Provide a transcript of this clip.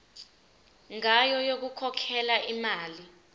ngayo yokukhokhela imali